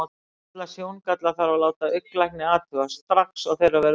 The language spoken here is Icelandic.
Alla sjóngalla þarf að láta augnlækni athuga, strax og þeirra verður vart.